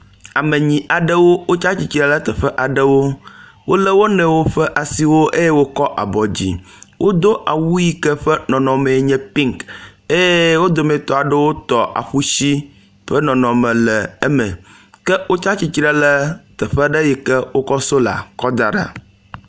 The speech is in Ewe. Ame enyi aɖewo wotsi tsitre ɖe teƒe aɖewo wole wo nɔewo ƒe asiwo eye wotsɔ woƒe asiwo aɖe edzi, wodo awu yi ke ƒe nɔnɔmee nye pink, eye wo dometɔ aɖewo tɔ afuisi ƒe nɔnɔme le eme, ke wotsi tsitre ɖe teƒe ɖe yi ke wokɔ sola daɖo